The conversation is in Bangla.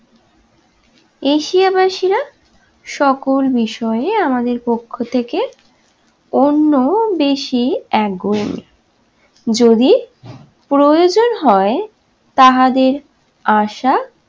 এশিয়া বাসীরা সকল বিষয়ে আমাদের পক্ষ থেকে অন্য দেশি একগুঁইয়োমি যদি প্রয়োজন হয় তাহাদের আশা